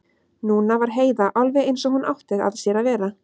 Núna var Heiða alveg eins og hún átti að sér að vera.